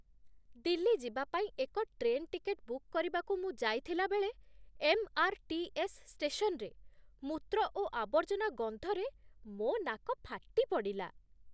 ଦିଲ୍ଲୀ ଯିବା ପାଇଁ ଏକ ଟ୍ରେନ୍ ଟିକେଟ୍ ବୁକ୍ କରିବାକୁ ମୁଁ ଯାଇଥିଲାବେଳେ, ଏମ୍.ଆର୍.ଟି.ଏସ୍. ଷ୍ଟେସନରେ ମୂତ୍ର ଓ ଆବର୍ଜନା ଗନ୍ଧରେ ମୋ ନାକ ଫାଟିପଡ଼ିଲା।